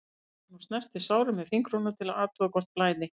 æpir hann og snertir sárin með fingrunum til að athuga hvort blæði.